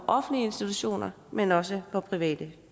offentlige institutioner men også for private